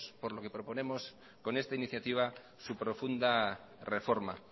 por lo que proponemos con esta iniciativa su profunda reforma